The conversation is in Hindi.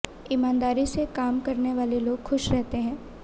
ईमानदारी से काम करने वाले लोग खुश रहते हैं